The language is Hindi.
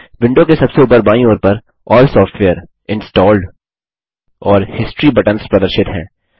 विडों के सबसे ऊपर बायीं ओर पर अल्ल सॉफ्टवेयर इंस्टॉल्ड और हिस्टोरी बटन्स प्रदर्शित हैं